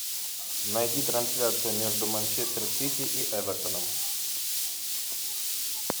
найди трансляцию между манчестер сити и эвертоном